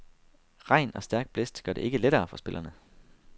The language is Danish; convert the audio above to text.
Regn og stærk blæst gør det ikke lettere for spillerne.